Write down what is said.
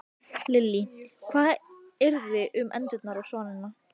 Lillý: Hvað yrði þá um endurnar og svanina?